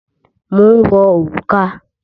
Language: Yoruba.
Mò ń wọ òrùka.